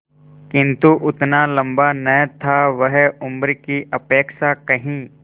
किंतु उतना लंबा न था वह उम्र की अपेक्षा कहीं